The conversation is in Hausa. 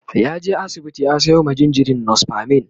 ya je asibiti ya Sayo ma jinjirin nospamin